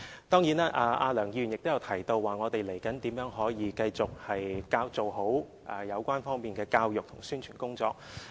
當然，梁議員亦提到，未來我們可如何繼續做好有關方面的教育和宣傳工作。